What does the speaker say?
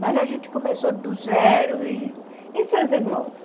Mas a gente começou do zero e... E seus irmãos?